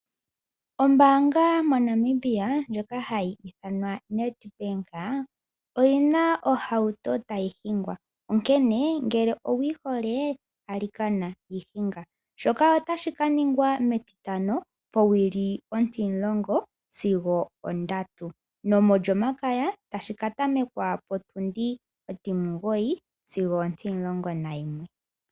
Ombaanga moNamibia ndjoka hayi ithanwa Nedbank oyi na ohauto tayi hingwa, onkene ngele owu yi hole, alikana yi hinga. Shoka otashi ka ningwa mEtitano powili ontimulongo sigo ondatu (10h00-15h00), nomOlyomakaya tashi ka tamekwa potundi ontimugoyi sigo ontimulongo nayimwe (09h00-11h00).